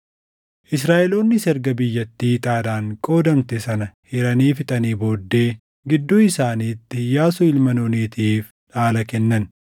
Israaʼeloonnis erga biyyattii ixaadhaan qoodamte sana hiranii fixanii booddee gidduu isaaniitti Iyyaasuu ilma Nuunitiif dhaala kennan;